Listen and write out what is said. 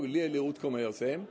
léleg útkoma hjá þeim